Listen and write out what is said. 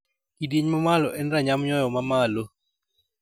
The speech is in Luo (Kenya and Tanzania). Kidieny ma malo en ranyam nyoyo ma malo.